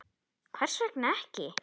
Rósa: Hvers vegna ekki?